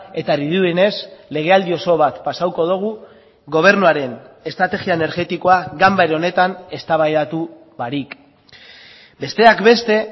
eta dirudienez legealdi oso bat pasatuko dugu gobernuaren estrategia energetikoa ganbara honetan eztabaidatu barik besteak beste